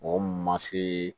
Mɔgɔ ma se